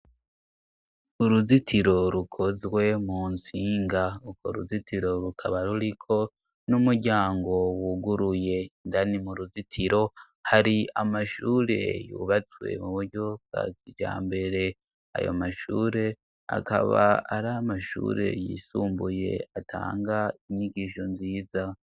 Uruzitiro rukozwe mu ntsinga uko ruzitiro rukaba ruriko n'umuryango wuguruye indani mu ruzitiro hari amashure yubatswe mu buryo bwa kijambere ayo mashure akaba ari amashure yisumbuye atanga inyigisho nziza.